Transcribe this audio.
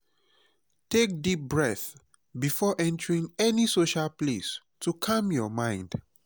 take deep breath before entering any social place to calm your mind.